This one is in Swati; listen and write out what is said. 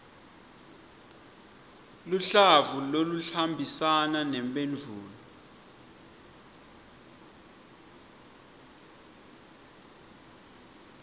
luhlavu loluhambisana nemphendvulo